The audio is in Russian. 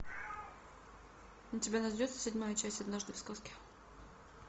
у тебя найдется седьмая часть однажды в сказке